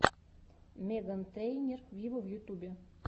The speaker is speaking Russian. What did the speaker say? меган трейнер виво в ютубе